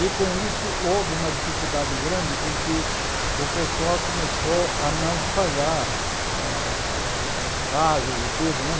E com isso houve uma dificuldade grande porque o pessoal começou a não pagar as as casas e tudo né.